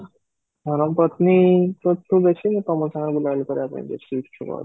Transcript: ଧରମ ପତ୍ନୀ ତ ଦେଖିନି କିନ୍ତୁ ତମୋ ସାଙ୍ଗରେ ବୁଲା ବୁଲି କରିବା ପାଇଁ ବେଶୀ ଊତ୍ସଛୁକ